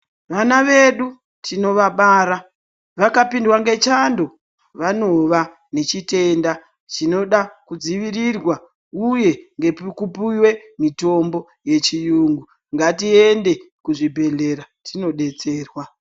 Vana vedu tinovabara vakapindwa nechando vanova nechitenda chinoda kudzivirirwa uye ngekupuwe mitombo yechiyungu Ngatiende kuzvibhedhlera tinodetserwa.